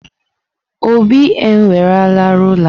Obi ewerela rulaa.